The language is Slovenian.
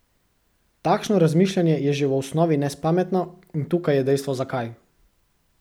Takšno razmišljanje je že v osnovi nespametno in tukaj je dejstvo zakaj.